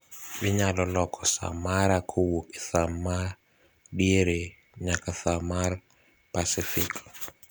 Inyalo loko saa mara kowuok e saa ma diere nyaka saa mar Pasifik